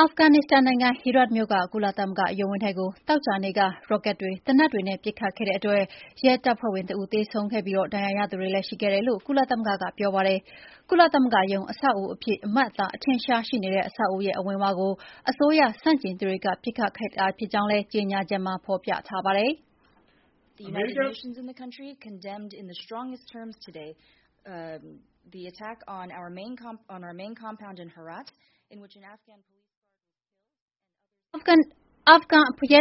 အာဖဂန်နစ္စတန်နိုင်ငံ Herat မြို့ က ကုလသမဂ္ဂရုံးဝန်းထဲကို သောကြာနေ့က ရော့ကတ်တွေ၊ သေနတ်တွေနဲ့ ပစ်ခတ်ခဲ့တဲ့အတွက် ရဲတပ်ဖွဲ့ဝင်တဦး သေဆုံးခဲ့ပြီး ဒဏ်ရာရသူတွေလည်း ရှိခဲ့တယ်လို့ ကုလသမဂ္ဂက ပြောပါတယ်။ ကုလသမဂ္ဂ ရုံးအဆောက်အဦးအဖြစ် အမှတ်အသား အထင်အရှား ရှိနေတဲ့ အဆောက်အဦးရဲ့ အဝင်ဝကို အစိုးရဆန့်ကျင်သူတွေ ပစ်ခတ်တိုက်ခိုက်ခဲ့တာ ဖြစ်ကြောင်းလည်း ကြေညာချက်မှာ ဖော်ပြထားပါတယ်။ “အာဖဂန်ရဲ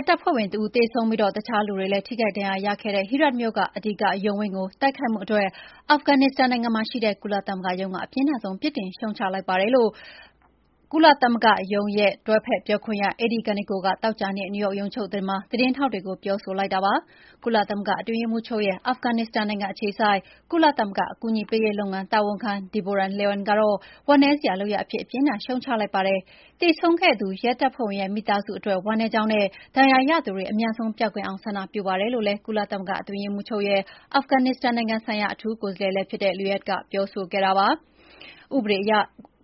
တပ်ဖွဲ့ဝင် တဦးသေဆုံးပြီး၊ တခြားလူတွေလည်း ထိခိုက်ဒဏ်ရာရခဲ့တဲ့ Herat မြို့ က အဓိက ရုံးဝန်းကို တိုက်ခိုက်မှုအတွက် အာဖဂနစ္စတန်နိုင်ငံမှာရှိတဲ့ ကုလသမဂ္ဂရုံးက အပြင်းထန်ဆုံး ပြစ်တင်ရှုတ်ချလိုက်ပါတယ်။” လို့ တွဲဖက်ပြောခွင့်ရ Eri Kaneko က သောကြာနေ့ နယူးယောက်ရုံးချုပ်မှာ သတင်းထောက်တွေကို ပြောလိုက်တာပါ။ ကုလသမဂ္ဂ အတွင်းရေးမှူးချုပ်ရဲ့ အာဖဂနစ္စတန်နိုင်ငံ အခြေစိုက် ကုလသမဂ္ဂ အကူအညီပေးရေးလုပ်ငန်း တာဝန်ခံ Deborah Lyons ကတော့ ဝမ်းနည်းစရာ လုပ်ရပ်အဖြစ် အပြင်းအထန် ရှုတ်ချလိုက်ပါတယ်။ သေဆုံးခဲ့သူရဲတပ်ဖွဲ့ဝင်ရဲ့ မိသားစုအတွက် ဝမ်းနည်းကြောင်းနဲ့ ဒဏ်ရာရသူတွေ အမြန်ဆုံး ပျောက်ကင်းအောင် ဆန္ဒပြပါတယ်လို့လည်း ကုလသမဂ္ဂ အတွင်းရေးမှူးချုပ်ရဲ့ အာဖဂနစ္စတန်နိုင်ငံဆိုင်ရာ အထူးကိုယ်စားလှယ်လည်းဖြစ်တဲ့ Lyons က ပြောဆိုခဲ့တာပါ။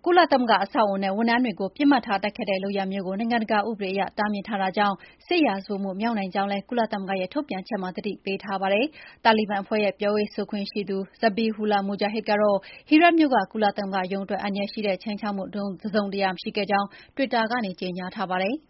ကုလသမဂ္ဂ အဆောက်အအုံနဲ့ ဝန်ထမ်းတွေကို ပစ်မှတ်ထားတိုက်ခိုက်တဲ့ လုပ်ရပ်မျိုးကို နိုင်ငံတကာ ဥပဒေအရ တားမြစ်ထားတာကြောင့် စစ်ရာဇဝတ်မှုမြောက်နိုင်ကြောင်းလည်း ကုလသမဂ္ဂရဲ့ ထုတ်ပြန်ချက်မှာ သတိပေးထားပါတယ်။ တာလီဘန်အဖွဲ့ ရဲ့ ပြောရေးဆိုခွင့်ရှိသူ Zabiullah Mujahid ကတော့ Herat မြို့က ကုလသမဂ္ဂရုံးအတွက် အန္တရာယ်ရှိတဲ့ ခြိမ်းခြောက်မှု တစုံတရာ မရှိခဲ့ကြောင်း Twitter ကနေ ကြေညာပါတယ်။